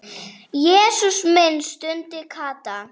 Jesús minn stundi Kata.